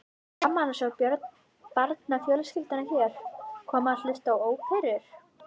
Gaman að sjá barnafjölskyldurnar hér koma og hlusta á óperur.